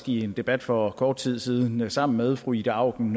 i en debat for kort tid siden sammen med fru ida auken